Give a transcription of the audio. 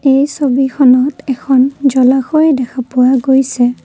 এই ছবিখনত এখন জলাশয় দেখা পোৱা গৈছে।